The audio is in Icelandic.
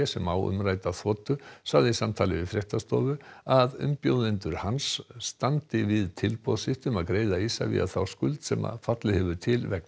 sem á umrædda þotu sagði í samtali við fréttastofu að umbjóðendur hans standi við tilboð sitt um að greiða Isavia þá skuld sem fallið til vegna